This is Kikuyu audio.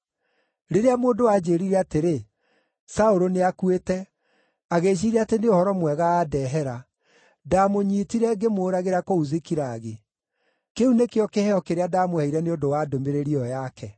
rĩrĩa mũndũ aanjĩĩrire atĩrĩ, ‘Saũlũ nĩakuĩte’, agĩĩciiria atĩ nĩ ũhoro mwega andehera, ndamũnyiitire ngĩmũũragĩra kũu Zikilagi. Kĩu nĩkĩo kĩheo kĩrĩa ndamũheire nĩ ũndũ wa ndũmĩrĩri ĩyo yake!